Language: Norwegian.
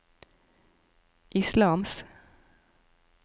islams